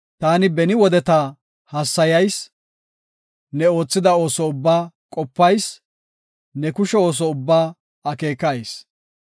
Taani beni wodeta hassayayis; ne oothida ooso ubbaa qopayis; ne kushe ooso ubbaa akeekayis.